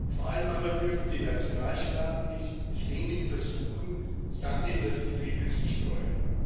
Vor allem aber dürfen die Nationalstaaten nicht ständig versuchen, Sand in das Getriebe zu streuen.